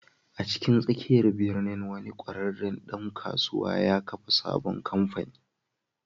A cikin tsakiyar birnin, wani ƙwararren ɗan kasuwa ya kafa sabon kamfani.